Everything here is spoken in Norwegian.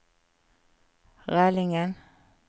Rælingen